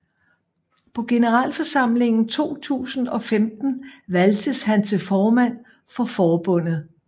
På generalforsamlingen 2015 valgtes han til formand for forbundet